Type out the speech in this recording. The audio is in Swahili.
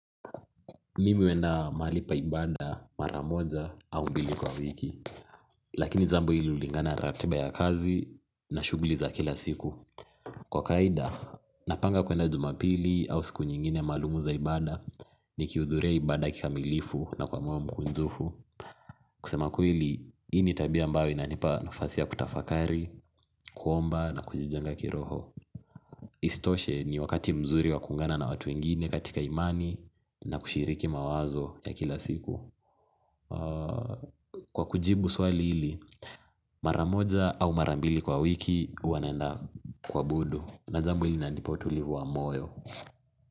Mimi huenda mahali pa ibada mara moja au mbili kwa wiki lakini jambo hili hulingana ratiba ya kazi na shughuli za kila siku kwa kawaida, napanga kuenda jumapili au siku nyingine maalumu za ibada nikihudhuria ibada kikamilifu na kwa moyo mkunjufu kusema kweli, hii ni tabia ambayo inanipa nafasi ya kutafakari, kuomba na kujijenga kiroho. Isitoshe ni wakati mzuri wa kuungana na watu wengine katika imani na kushiriki mawazo ya kila siku kwa kujibu swali hili maramoja au marambili kwa wiki huwa naenda kuabudu na jambo hili linanipa utulivu wa moyo.